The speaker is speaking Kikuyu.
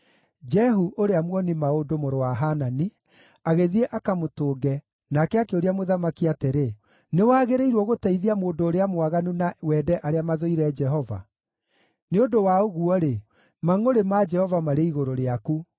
Jehu ũrĩa muoni-maũndũ, mũrũ wa Hanani, agĩthiĩ akamũtũnge nake akĩũria mũthamaki atĩrĩ, “Nĩwagĩrĩirwo gũteithia mũndũ ũrĩa mwaganu na wende arĩa mathũire Jehova? Nĩ ũndũ wa ũguo-rĩ, mangʼũrĩ ma Jehova marĩ igũrũ rĩaku.